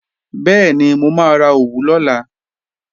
Bẹ́ẹ̀ni, mo máa ra òwú lọ́la